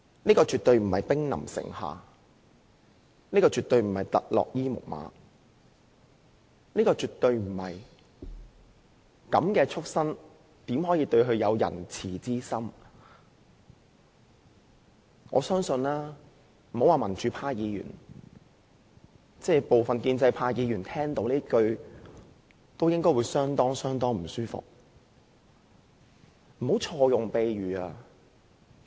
這絕對不是兵臨城下，不是特洛伊木馬，亦不是"這樣的畜牲怎可以仁慈之心對待"——別說是民主派議員，我相信部分建制派議員聽到這句話，也會感到相當不舒服。